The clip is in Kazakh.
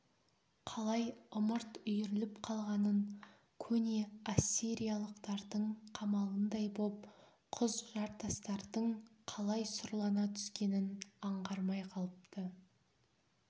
қалай ымырт үйіріліп қалғанын көне ассириялықтардың қамалындай боп құз-жартастардың қалай сұрлана түскенін аңғармай қалыпты